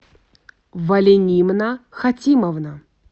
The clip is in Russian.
валенимна хатимовна